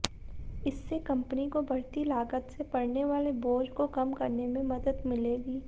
इससे कंपनी को बढ़ती लागत से पड़ने वाले बोझ को कम करने में मदद मिलेगी